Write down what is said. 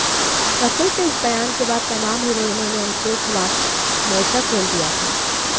रकुल के इस बयान के बाद तमाम हीरोइनों ने उनके खिलाफ मोर्चा खोल दिया था